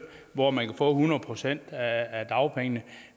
hvor man kan få hundrede procent af dagpengene